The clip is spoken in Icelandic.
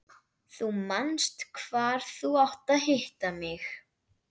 Þú manst hvar þú átt að hitta mig.